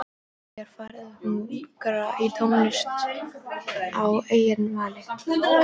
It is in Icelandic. Mig er farið að hungra í tónlist að eigin vali.